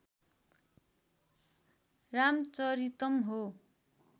रामचरितम् हो